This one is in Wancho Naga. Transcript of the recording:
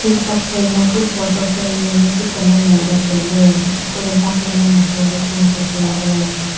tokphai ma chu photo frame jau nyu chu tale ngan le taile eko le bak le man aho le chu ngan le taile.